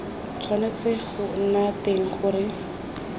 tshwanetse go nna teng gore